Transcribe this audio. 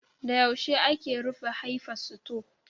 Da yaushe ake rufe Hayfa sito?